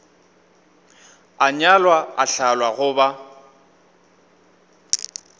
a nyalwa a hlalwa goba